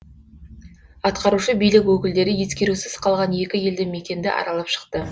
атқарушы билік өкілдері ескерусіз қалған екі елді мекенді аралап шықты